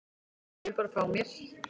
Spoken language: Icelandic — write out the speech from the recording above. Ég vil bara fá mér.